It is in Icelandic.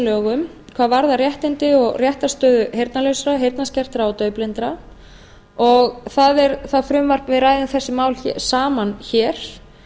lögum hvað varðar réttindi og réttarstöðu heyrnarlausra heyrnarskertra og daufblindra við ræðum þessi mál saman hér